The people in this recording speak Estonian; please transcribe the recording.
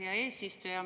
Aitäh, hea eesistuja!